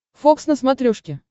фокс на смотрешке